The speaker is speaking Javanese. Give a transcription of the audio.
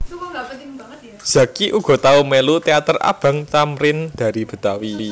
Zacky uga tau mélu teater Abang Thamrin Dari Betawi